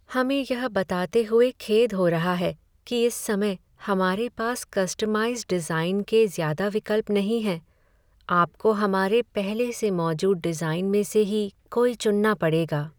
हमें यह बताते हुए खेद हो रहा है कि इस समय हमारे पास कस्टमाइज़ डिज़ाइन के ज़्यादा विकल्प नहीं हैं। आपको हमारे पहले से मौजूद डिज़ाइन में से ही कोई चुनना पड़ेगा।